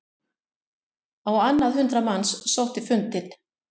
Á annað hundrað manns sótti fundinn